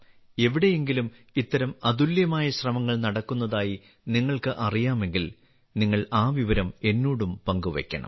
എവിടെയെങ്കിലും ഇത്തരം അതുല്യമായ ശ്രമങ്ങൾ നടക്കുന്നതായി നിങ്ങൾക്ക് അറിയാമെങ്കിൽ നിങ്ങൾ ആ വിവരം എന്നോടും പങ്കുവയ്ക്കണം